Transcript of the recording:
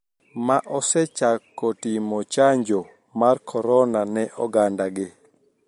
Ma osechako timo chanjo mar korona ne oganda gi